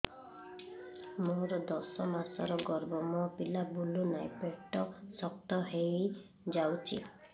ମୋର ଦଶ ମାସର ଗର୍ଭ ମୋ ପିଲା ବୁଲୁ ନାହିଁ ପେଟ ଶକ୍ତ ହେଇଯାଉଛି